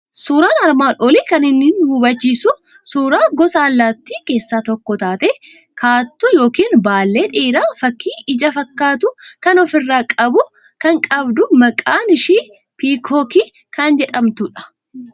Suuraan armaan olii kan inni nu hubachiisu suuraa gosa allaattii keessaa tokko taate, kaattuu yookiin baallee dheeraa fakkii ija fakkaatu kan ofirraa qabu kan qabdu maqaan ishii piikookii kan jedhamtudha.